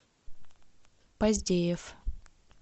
поздеев